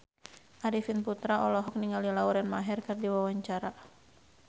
Arifin Putra olohok ningali Lauren Maher keur diwawancara